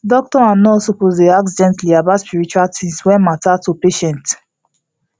doctor and nurse suppose dey ask gently about spiritual things wey matter to patient